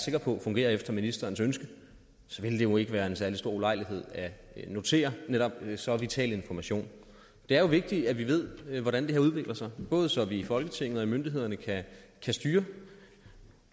sikker på fungerer efter ministerens ønske ville det jo ikke være en særlig stor ulejlighed at notere netop så vital en information det er jo vigtigt at vi ved hvordan det her udvikler sig både så vi i folketinget og hos myndighederne kan styre